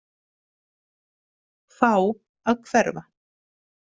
Fá að hverfa.